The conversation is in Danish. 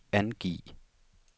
angiv